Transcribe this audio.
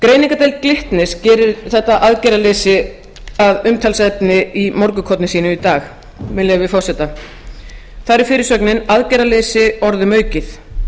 greiningardeild glitnis gerir þetta aðgerðaleysi að umtalsefni í morgunkorni sínu í í dag með leyfi forseta þar er fyrirsögnin aðgerðaleysi orðum aukið